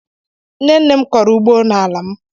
Nne nne m kọrọ ugbo nala m.